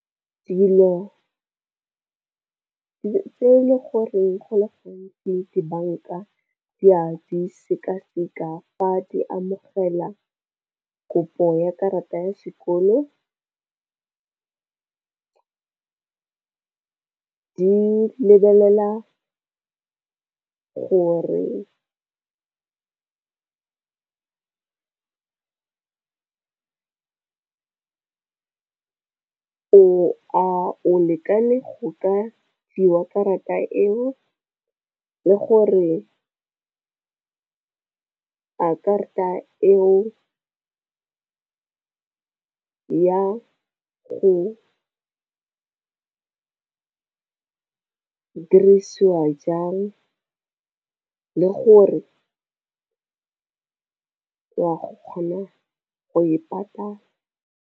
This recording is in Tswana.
Dilo tse ele goreng go le gantsi dibanka di a di sekaseka fa di amogela kopo ya karata ya sekoloto, di lebelela gore o lekane go ka fiwa karata eo le gore a karata eo ya go dirisiwa jang, le gore go kgona go e patala.